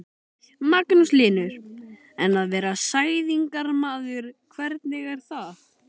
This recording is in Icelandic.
Magnús Hlynur: En að vera sæðingarmaður, hvernig er það?